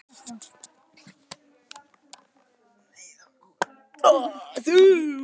Eitthvað sem segir mér að fara þangað.